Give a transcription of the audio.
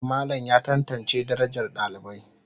Malam ya tantance darajar dalibai.